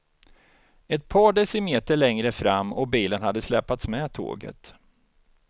Ett par decimeter längre fram och bilen hade släpats med tåget.